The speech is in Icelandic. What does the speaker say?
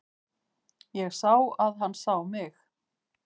Ég sá að hann sá mig.